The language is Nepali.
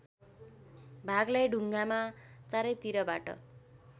भागलाई ढुङ्गामा चारैतिरबाट